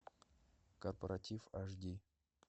корпоратив аш ди